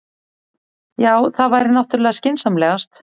Já, það væri náttúrlega skynsamlegast.